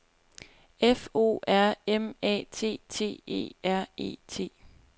F O R M A T T E R E T